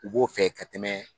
U b'o fɛ ka tɛmɛ